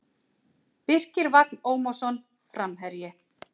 Birkir Vagn Ómarsson Framherji